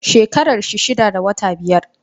Shekarar shi daya da wata biyar.